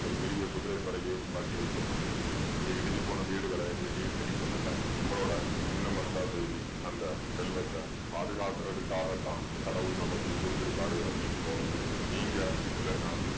ஒரு பெரிய குதிரைப் படையே வைக்கப்பட்டிருக்குது இந்த இடிஞ்சு போன வீடுகளை எதையும் சரி பண்ணலை நம்மளோட சின்ன மஸ்தா தேவி அந்த செல்வத்தை பாதுகாக்கிறதுக்காகத்தான் கடவுள் நமக்கு குடுத்திருக்காரு அப்படின்னு தோணுது நீங்க இல்லைன்னா